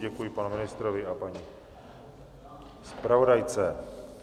Děkuji panu ministrovi a paní zpravodajce.